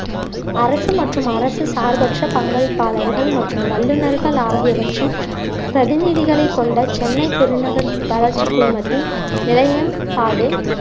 அரசு மற்றும் அரசு சார்பற்ற பங்களிப்பாளர்கள் மற்றும் வல்லுநர்கள் ஆகியவற்றின் பிரதிநிதிகளை கொண்ட சென்னை பெருநகர் வளர்ச்சி குழுமத்தின் நிலையென்பாடு